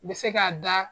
Bɛ se k'a da